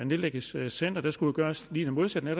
nedlægges centre der skulle gøres lige det modsatte